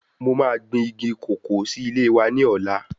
Mo ma gbìn igi kòkó sí ilé wa ní ọ̀la